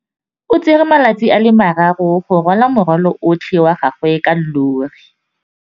O tsere malatsi a le marraro go rwala morwalo otlhe wa gagwe ka llori.